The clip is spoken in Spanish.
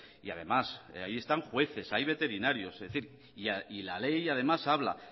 y además ahí están jueces hay veterinarios es decir y la ley además habla